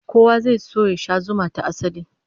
Kowa zai so ya sha zuma ta asali